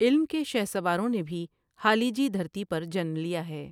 علم کے شہسواروں نے بھی ہالیجی دھرتی پر جنم لیا ھے۔